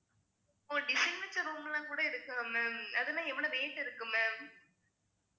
ஓ design வச்ச room எல்லாம் கூட இருக்கா ma'am அதென்ன எவ்வளவு rate இருக்கும் ma'am